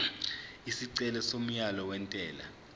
isicelo somyalo wentela